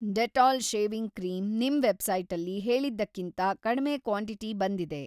Dettol shaving cream ನಿಮ್‌ ವೆಬ್‌ಸೈಟಲ್ಲಿ‌ ಹೇಳಿದ್ದಕ್ಕಿಂತ ಕಡ್ಮೆ ಕ್ವಾಂಟಿಟಿ ಬಂದಿದೆ.